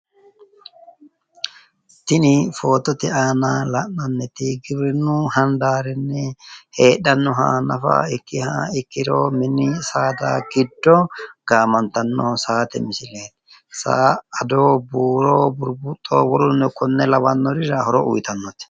Tini footote aana la'nanniti giwiwrinnu handaarinni heedhannoha nafa ikkiha ikkiro mini saada giddo gaamantanno saate misileeti saa ado buuro burbuxo wolurino konne lawannorira horo iyiitannote